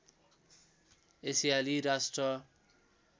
एसियाली राष्ट्र